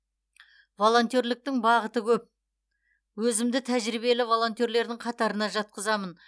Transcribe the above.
волонтерліктің бағыты көп өзімді тәжірибелі волонтерлердің қатарына жатқызамын